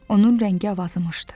Onun rəngi avazımışdı.